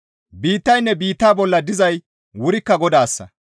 Biittaynne biitta bolla dizay wurikka Godayssa.